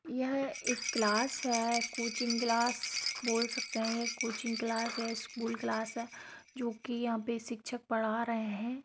यह एक क्लास है कोचिंग क्लास बोल सकते हैं कोचिंग क्लास है स्कूल क्लास है जो की यहाँ पे शिक्षक पढ़ा रहे हैं।